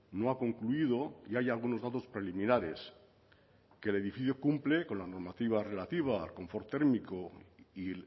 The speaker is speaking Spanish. no ha concluido ya hay algunos datos preliminares que el edificio cumple con la motiva relativa al confort térmico y